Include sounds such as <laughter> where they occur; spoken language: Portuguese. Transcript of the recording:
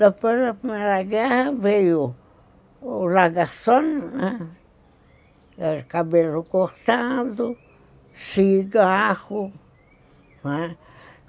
Depois da Primeira Guerra veio o, <unintelligible> cabelo cortado, cigarro.